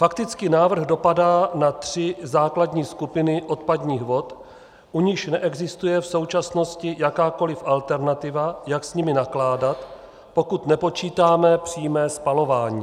Fakticky návrh dopadá na tři základní skupiny odpadních vod, u nichž neexistuje v současnosti jakákoliv alternativa, jak s nimi nakládat, pokud nepočítáme přímé spalování.